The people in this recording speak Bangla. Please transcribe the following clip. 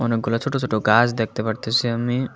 অনেকগুলা ছোট ছোট গাছ দেখতে পারতাসি আমি।